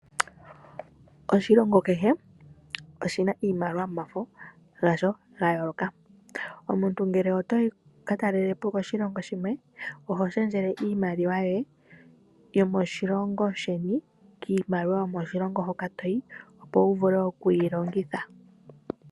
Oshilongo kehe oshi na iimaliwa yomafo gasho ga yooloka. Omuntu ngele oto yi wu ka talele po koshilongo shimwe, oho shendje iimaliwa yoye yomoshilongo sheni kiimaliwa yomoshilongo hoka to yi, opo wu vule okuyi longitha.